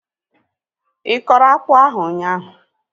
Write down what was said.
Ịkọrọ akpụ ahu ụnyaahụ?